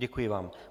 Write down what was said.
Děkuji vám.